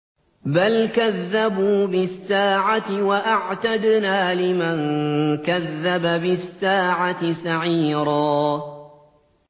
بَلْ كَذَّبُوا بِالسَّاعَةِ ۖ وَأَعْتَدْنَا لِمَن كَذَّبَ بِالسَّاعَةِ سَعِيرًا